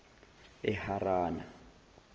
eharana